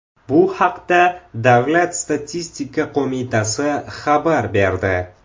Bu haqda Davlat statistika qo‘mitasi xabar berdi .